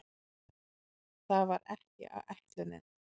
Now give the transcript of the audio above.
Það var ekki ætlunin.